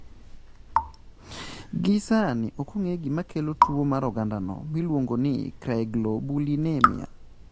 Gie sani, ok ong'e gima kelo tuwo mar ogandano miluongo ni cryoglobulinemia.